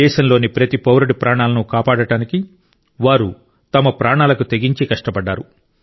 దేశంలోని ప్రతి పౌరుడి ప్రాణాలను కాపాడడానికి వారు తమ ప్రాణాలకు తెగించి కష్టపడ్డారు